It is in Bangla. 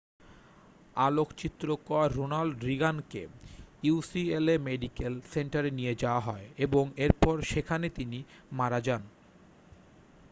আলোকচিত্রকার রোনাল্ড রিগানকে ইউসিএলএ মেডিক্যাল সেন্টারে নিয়ে যাওয়া হয় এবং এরপর সেখানে তিনি মারা যান